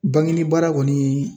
Banginibaara kɔni